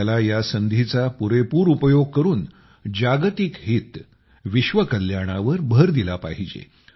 आपल्याला या संधीचा पुरेपूर उपयोग करून जागतिक हित विश्वकल्याणावर भर दिला पाहिजे